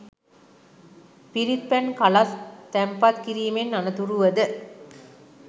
පිරිත් පැන් කලස් තැන්පත් කිරීමෙන් අනතුරුව ද